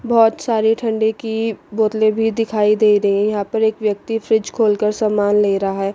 बहोत सारी ठंडे की बोतलें भी दिखाई दे रही यहां पर एक व्यक्ति फ्रिज खोलकर सामान ले रहा है।